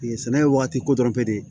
Sɛnɛ ye waati kodɔn tɛ de